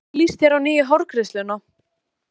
En hvernig líst þér á nýju hárgreiðsluna?